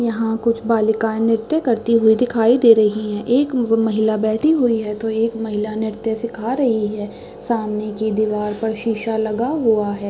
यहाँ कुछ बालिकाएं नृत्य करती हुई दिखाई दे रही है एक महिला बैठी हुई है तो एक महिला नृत्य सीखा रही है सामने की दीवार पर शीशा लगा हुआ है।